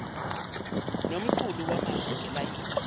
nomqulu wamazwi ngalayini